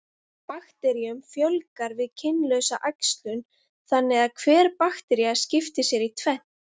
Bakteríum fjölgar við kynlausa æxlun, þannig að hver baktería skiptir sér í tvennt.